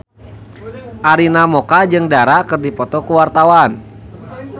Arina Mocca jeung Dara keur dipoto ku wartawan